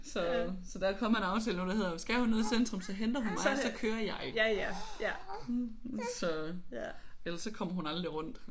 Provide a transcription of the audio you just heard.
Så så der er kommet en aftale nu der hedder skal hun noget i centrum så henter hun mig og så kører jeg så ellers så kommer hun aldrig rundt